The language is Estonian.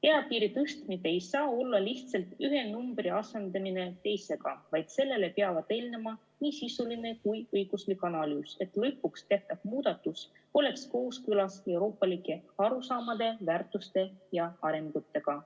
Eapiiri tõstmine ei tohi olla lihtsalt ühe numbri asendamine teisega, vaid sellele peavad eelnema nii sisuline kui õiguslik analüüs, et lõpuks tehtav muudatus oleks kooskõlas euroopalike arusaamade, väärtushinnangute ja arengutega.